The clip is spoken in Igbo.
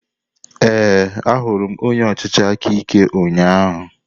Ee, ahụrụ m onye ọchịchị aka ike ụnyahụ.